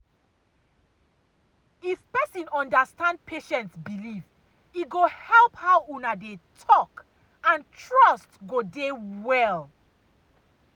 if person understand patient belief e go help how una dey talk and trust go dey well.